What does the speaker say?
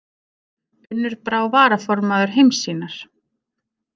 Unnur Brá varaformaður Heimssýnar